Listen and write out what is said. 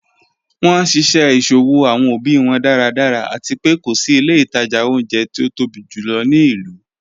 Wọn nṣiṣẹ iṣowo awọn obi wọn daradara, ati pé ko si ilẹ̀ itaja ọ̀unjẹ̀ ti o tobi júlọ̀ ni ilu.